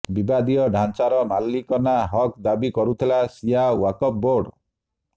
ବିବାଦୀୟ ଢ଼ାଞ୍ଚାର ମାଲିକାନା ହକ୍ ଦାବି କରୁଥିଲା ଶିୟା ୱାକଫ ବୋର୍ଡ